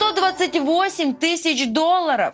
сто двадцать восемь тысяч долларов